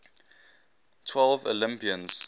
twelve olympians